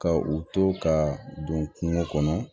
Ka u to ka don kungo kɔnɔ